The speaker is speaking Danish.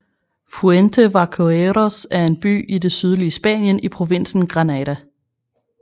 Fuente Vaqueros er en by i det sydlige Spanien i provinsen Granada